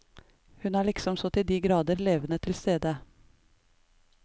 Hun er liksom så til de grader levende tilstede.